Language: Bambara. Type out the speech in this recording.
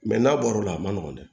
Mɛ n'a bɔra o la a ma nɔgɔn dɛ